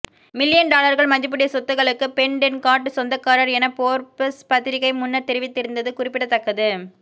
million டொலர்கள் மதிப்புடைய சொத்துக்களுக்கு பெட்டென்கார்ட் சொந்தக்காரர் எனபோர்ப்ஸ் பத்திரிக்கை முன்னர் தெரிவித்திருந்தது குறிப்பிடத்தக்கது